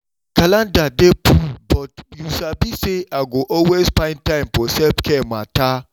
my calendar dey full but you sabi say i go always find time for self-care matter.